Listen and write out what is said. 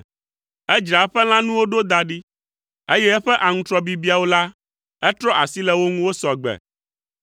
Edzra eƒe lãnuwo ɖo da ɖi, eye eƒe aŋutrɔ bibiawo la etrɔ asi le wo ŋu wosɔ gbe.